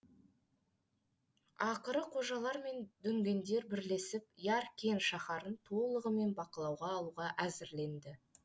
ақыры қожалар мен дүнгендер бірлесіп яркент шаһарын толығымен бақылауға алуға әзірленді